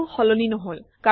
একো সলনি নহল